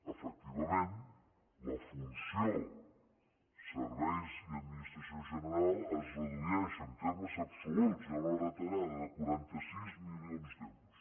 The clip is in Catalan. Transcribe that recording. efectivament la funció serveis i administració general es redueix en termes absoluts hi ha una retallada de quaranta sis milions d’euros